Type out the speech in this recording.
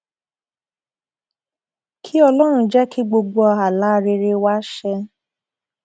kí ọlọrun jẹ kí gbogbo àlá rere wa ṣẹ